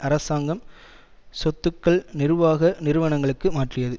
அரசாங்கம் சொத்துக்கள் நிர்வாக நிறுவனங்களுக்கு மாற்றியது